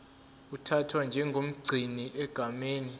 uthathwa njengomgcini egameni